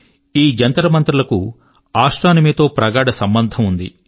ఈ జంతర్మంతర్ లకు ఆస్ట్రోనమీ తో ప్రగాఢ సంబంధం ఉంది